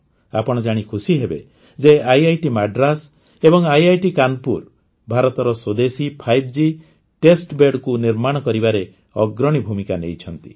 ଆପଣ ଜାଣି ଖୁସିହେବେ ଯେ ଆଇଆଇଟି ମାଡ୍ରାସ ଏବଂ ଆଇଆଇଟି କାନପୁର ଭାରତର ସ୍ୱଦେଶୀ 5G ଟେଷ୍ଟ Bedକୁ ନିର୍ମାଣ କରିବାରେ ଅଗ୍ରଣୀ ଭୂମିକା ନେଇଛନ୍ତି